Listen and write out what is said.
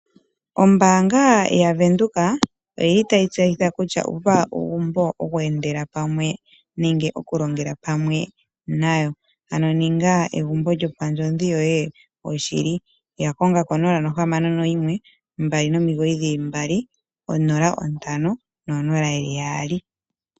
Ombaanga ya Venduka oyi li tayi tseyitha kutya uva uugumbo woku endela pamwe, nenge okulongela pamwe nayo. Ano ninga egumbo lyo pandjodhi yoye oshili. Ya konga ko 0612990500.